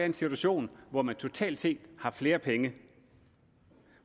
en situation hvor man totalt set har flere penge